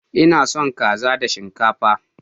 Ina son kaza da shinkafa.